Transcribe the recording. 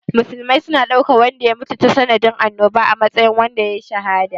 Musulmi suna ɗaukan wanda ya mutu tasa nadin annoba a matsayin wanda yayi shahada.